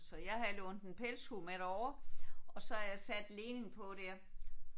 Så jeg havde lånt en pelshue med derover og så havde jeg sat Lenin på der